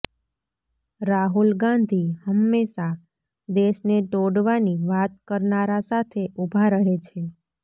રાહુલ ગાંધી હંમેશા દેશને તોડવાની વાત કરનારા સાથે ઉભા રહે છે